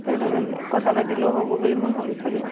লগত কথা পাতিলেও হব বুলি মৈ ভাবিছিলো।